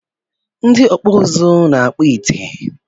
Ndị ọkpụ uzu na-akpọ ite